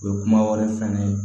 U ye kuma wɛrɛ fɛn ne ye